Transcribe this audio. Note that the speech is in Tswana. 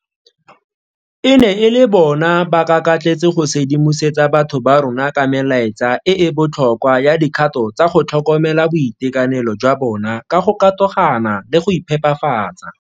E ne e le bona ba kakatletse go sedimosetsa batho ba rona ka melaetsa e e botlhokwa ya dikgato tsa go tlhokomela boitekanelo jwa bona ka go katogana le go iphepafatsa.